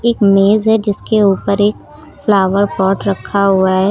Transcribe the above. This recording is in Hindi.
एक मेज है जिसके ऊपर एक फ्लावर पॉट रखा हुआ है।